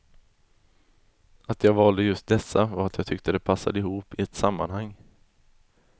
Att jag valde just dessa var att jag tyckte de passade ihop i ett sammanhang.